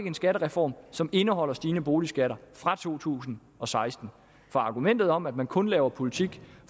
en skattereform som indeholder stigende boligskatter fra to tusind og seksten for argumentet om at man kun laver politik